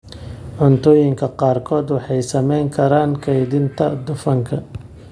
Cuntooyinka qaarkood waxay saameyn karaan kaydinta dufanka,